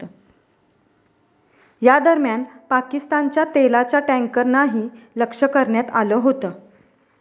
या दरम्यान पाकिस्तानच्या तेलाच्या टॅन्करनाही लक्ष करण्यात आलं होतं.